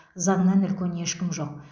заңнан үлкен ешкім жоқ